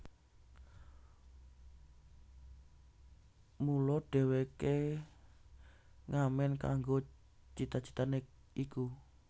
Mula dheweke ngamen kanggo cita citane iku